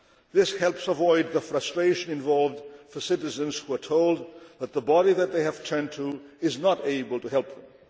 This helps avoid the frustration involved for citizens who are told that the body that they have turned to is not able to help them.